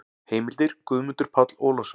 Heimildir: Guðmundur Páll Ólafsson.